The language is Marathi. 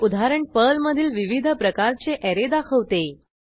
हे उदाहरण पर्लमधील विविध प्रकारचे ऍरे दाखवते